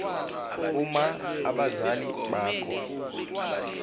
uma abazali bakho